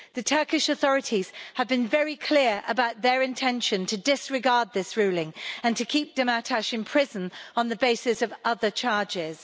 The Turkish authorities have been very clear about their intention to disregard this ruling and to keep Demirtas in prison on the basis of other charges.